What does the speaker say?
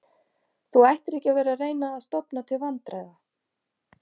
Þú ættir ekki að vera að reyna að stofna til vandræða